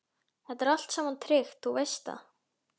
Þetta er allt saman tryggt, þú veist það.